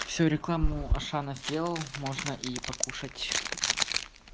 всю рекламу ашана сделал можно и покушать